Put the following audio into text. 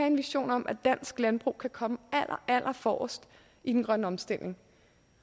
en vision om at dansk landbrug kommer allerallerforrest i den grønne omstilling